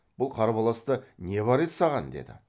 бұл қарбаласта не бар еді саған деді